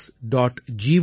gov